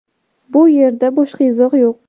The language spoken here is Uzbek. Bu yerda boshqa izoh yo‘q.